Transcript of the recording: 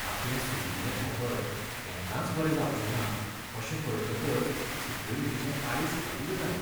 आपलें सुजिल्लें धोंपर केन्नाच बरें जावचें ना अशें कळटकच सॅक्युरिटीचें काळीज कल्ल जालें.